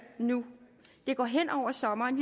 nu det går hen over sommeren